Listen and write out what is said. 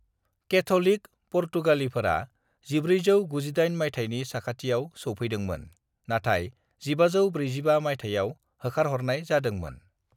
"Catholic पुर्तगालीफोरा 1498 मायथाइनि साखाथियाव सौफैदोंमोन, नाथाय 1545 मायथाइआव होखारह'रनाय जादोंमोन।"